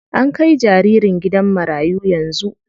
An kai jaririn gidan marayu yanzu.